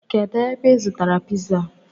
Kedu ebe I zụtara piza a?